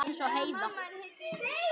Eins og Heiða.